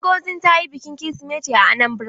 Ngozi ta yi bikin kirisimeti a Anambra.